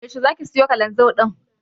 Yaushe zaka siyo Kalanzir ɗin?